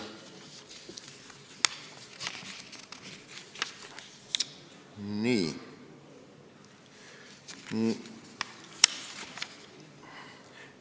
Nii.